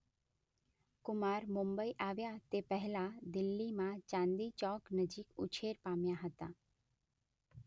કુમાર મુંબઇ આવ્યા તે પહેલા દિલ્હીમાં ચાંદની ચોક નજીક ઉછેર પામ્યા હતા.